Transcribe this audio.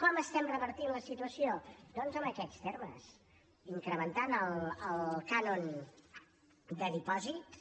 com estem revertint la situació doncs en aquests termes incrementant el cànon de dipòsit